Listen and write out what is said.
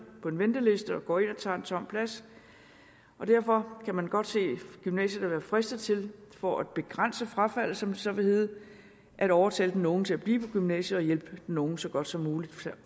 på en venteliste og går ind og tager en tom plads derfor kan man godt se at gymnasiet kan være fristet til for at begrænse frafaldet som det så vil hedde at overtale den unge til at blive på gymnasiet og hjælpe den unge så godt som muligt